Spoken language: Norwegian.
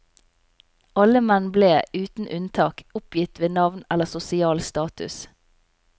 Alle menn ble, uten unntak, oppgitt ved navn eller sosial status.